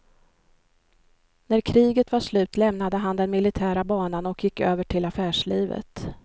När kriget var slut lämnade han den militära banan och gick över till affärslivet.